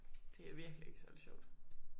Det virkelig ikke særlig sjovt